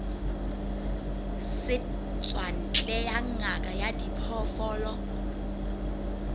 setswantle ya ngaka ya diphoofolo